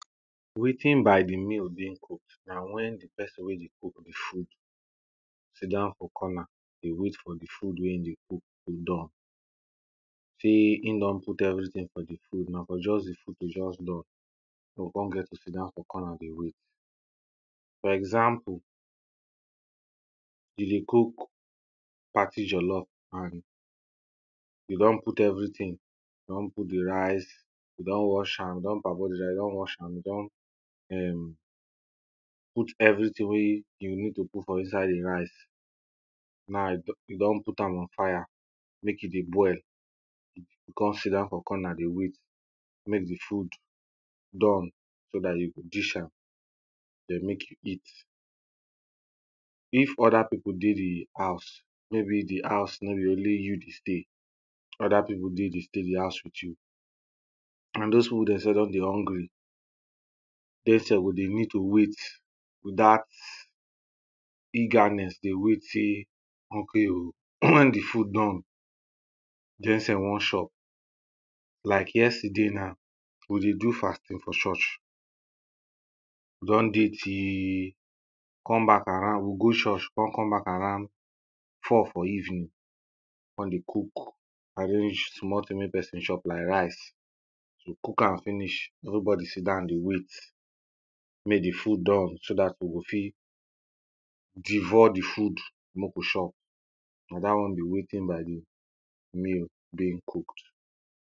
Waiting by di meal being cook when di person wey dey cook di food sit down for corner dey wait for di food wey e dey cook done. Sey e don put everything for di food na for just di food to just done dey go come get to sit down for corner dey wait for example, you dey cook party jolof and you don put everything, you don put di rice, you don wash am, you don parboil di rice, you don wash am, you don um put everything wey you need to put for inside di rice, now you don put am on fire mek e dey boil, you come sit down for corner dey wait mek di food done so dat you go dish am, mek you eat. if other pipo dey di house maybe di house no be only you dey stay, other pipo dey dey stay di house with you and dose pipo dem sef don dey hungry, dem sef go dey need to wait with dat eagerness, dey wait sey ok o when di food done dey sef wan chop like yesterday na, we dey do fasting for church, we don dey till come back around, we go church con come back around four for evening, come dey cook as e just reach small thing mek person chop something like rice, we cook am finish everybody sit down dey wait mek di food done so dat we go fit devour di food mek we chop. Na dat one be waiting by di meal being cook.